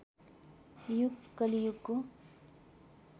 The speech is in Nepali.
युग कलियुग हो